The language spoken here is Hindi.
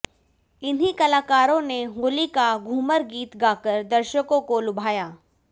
इन्हीं कलाकारों ने होली का घूमर गीत गाकर दर्शकों को लुभाया